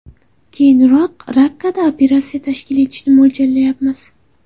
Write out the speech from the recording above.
Keyinroq Rakkada operatsiya tashkil etishni mo‘ljallayapmiz.